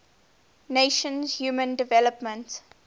nations human development